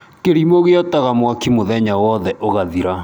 Kĩrĩmu gĩotaga mwaki mũthenya wothe ũgathira.